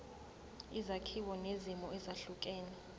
izakhiwo nezimo ezehlukene